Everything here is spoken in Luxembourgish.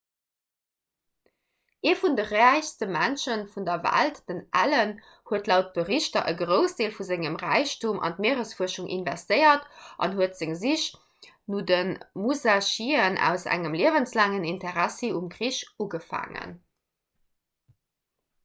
ee vun de räichste mënsche vun der welt den allen huet laut berichter e groussdeel vun sengem räichtum an d'mieresfuerschung investéiert an huet seng sich no de musashien aus engem liewenslaangen interessi um krich ugefaangen